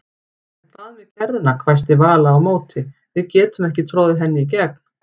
En hvað með kerruna hvæsti Vala á móti, við getum ekki troðið henni í gegn